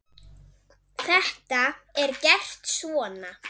Þetta er gert svona